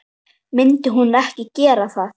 Myndi hún ekki gera það?